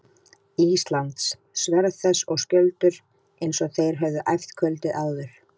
Íslands, sverð þess og skjöldur, eins og þeir höfðu æft kvöldið áður.